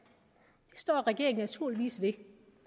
det står regeringen naturligvis ved